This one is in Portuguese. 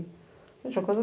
Gente, uma